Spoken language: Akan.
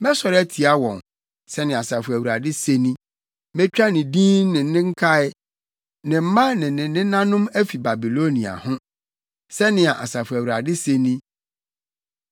“Mɛsɔre atia wɔn,” Sɛnea Asafo Awurade se ni. “Metwa ne din ne ne nkae, ne mma ne ne nenanom afi Babilonia ho,” sɛnea Asafo Awurade se ni.